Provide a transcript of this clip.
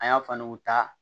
An y'a fanu ta